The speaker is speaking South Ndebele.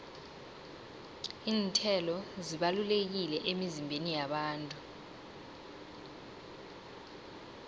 iinthelo zibalulekile emizimbeni yabantu